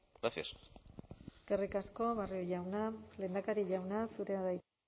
gracias eskerrik asko barrio jauna lehendakari jauna zurea da hitza